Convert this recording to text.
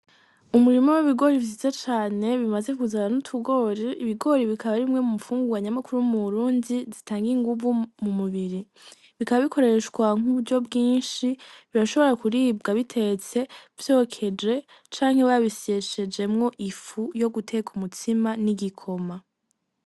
Umurima w'ibigori vyiza cane bimaze kuzana n'utugori ,Ibigori bikaba arimwe mu nfungurwa nyamukuru mu Burundi zi tanga inguvu mu mubiri bikaba bikoreshwa nku buryo bwishi birashobora kuribwa bitetse vyokeje canke basyishejemwo ifu yo guteka umutsima n'igikoma.